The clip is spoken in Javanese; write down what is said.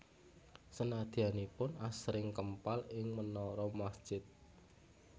Sedayanipun asring kempal ing menara masjid